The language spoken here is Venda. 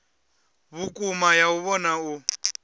vhukuma ya u vhona u